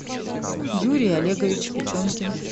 юрий олегович печенкин